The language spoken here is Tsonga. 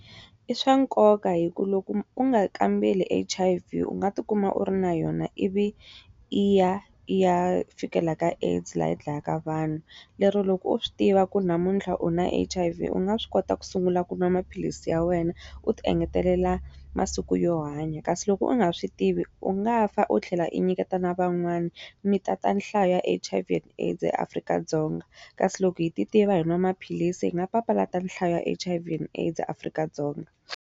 I swa nkoka hikuva loko u nga kambeli H_I_V u nga ti kuma u ri na yona ivi yi ya yi ya fikela ka AIDS laha dlaya ka vanhu. Lero loko u swi tiva ku namuntlha u na H_I_V u nga swi kota ku sungula ku nwa maphilisi ya wena, u ti engetelela masiku yo hanya. Kasi loko u nga swi tivi u nga fa u tlhela i nyiketa na van'wana, mi tata nhlayo ya H_I_V and AIDS eAfrika-Dzonga. Kasi loko hi ti tiva hi nwa maphilisi hi nga papalata nhlayo ya H_I_V and AIDS eAfrika-Dzonga.